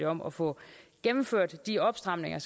om at få gennemført de opstramninger